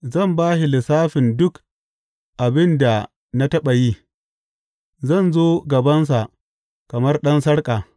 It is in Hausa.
Zan ba shi lissafin duk abin da na taɓa yi; zan zo gabansa kamar ɗan sarki.